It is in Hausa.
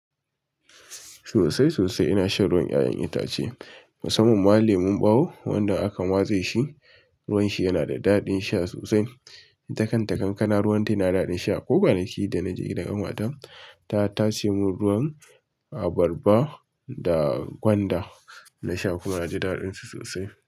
Sosai sosai ina shan ruwan 'ƴa'ƴan itace. Musamman ma leman ɓawo wanda aka matse shi ruwanshi yanada daɗin sha sosai. Ita kanta kankana, ruwan ta yana daɗin sha. Ko kwanaki da na je gidan kanwata, ta tashe mun ruwan abarba. Da gwanda na sha kuma na ji daɗin su sosai.